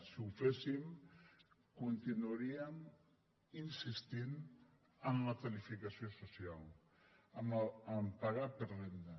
si ho féssim continuaríem insistint en la tarifació social en pagar per renda